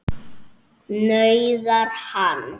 nauðar hann.